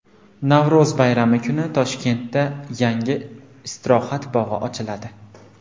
Navro‘z bayrami kuni Toshkentda yangi istirohat bog‘i ochiladi.